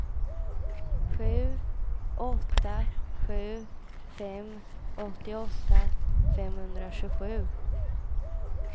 sju åtta sju fem åttioåtta femhundratjugosju